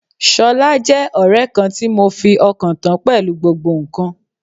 Ṣọlá jẹ́ ọ̀rẹ́ kan tí mo fi ọkàn tán pẹ̀lú gbogbo ǹkan.